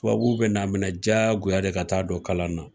Tubabu bɛ na minɛ diyagoya de ka taa don kalan na